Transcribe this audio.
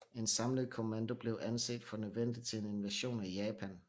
En samlet kommando blev anset for nødvendig til en invasion af Japan